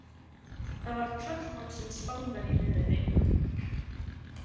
Það var tröllvaxinn Spánverji með henni.